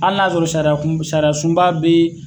Hali n'a y'a sɔrɔ sariya kun sariya sunba be yen